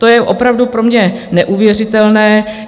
To je opravdu pro mě neuvěřitelné.